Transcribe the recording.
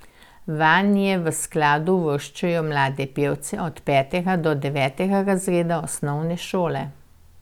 Vanje v skladu uvrščajo mlade pevce od petega do devetega razreda osnovne šole.